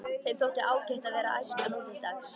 Þeim þótti ágætt að vera æskan nútildags.